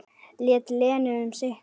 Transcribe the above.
Lét Lenu um sitt.